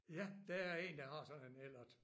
Ja! Der er én der har sådan en Ellert